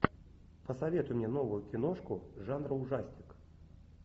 посоветуй мне новую киношку жанра ужастик